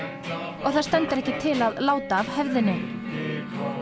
og það stendur ekki til að láta af hefðinni